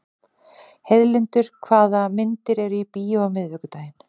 Heiðlindur, hvaða myndir eru í bíó á miðvikudaginn?